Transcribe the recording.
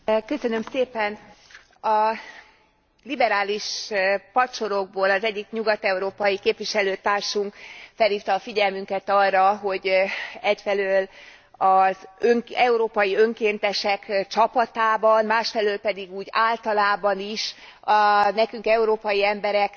A liberális padsorokból az egyik nyugat európai képviselőtársunk felhívta a figyelmünket arra, hogy egyfelől az európai önkéntesek csapatában, másfelől pedig úgy általában is nekünk, európai embereknek büszkén kellene